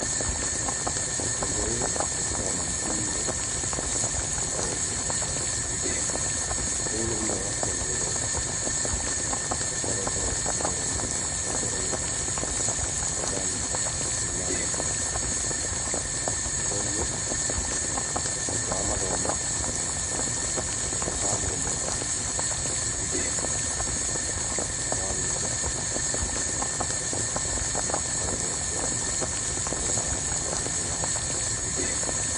Ũndũ ũyũ wĩkĩkaga mathukuru-inĩ, wĩtagwo igeranio, ũguo nĩ tutha wa ciana gũthoma, ikareterwo igeranio cia kuonania kana nĩiranyitaga ũrĩa irabundithagio, kuoguo, thutha wa mathomo akorwo nĩ tamu ĩmwe warĩkia, mũkareterwo kĩgeranio mũgeka mũkonania kĩrĩa mũndũ aranyitaga.